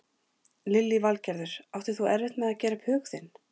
Lillý Valgerður: Áttir þú erfitt með að gera upp hug þinn?